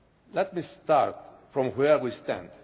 Let me start from where we stand.